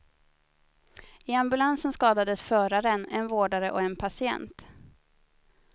I ambulansen skadades föraren, en vårdare och en patient.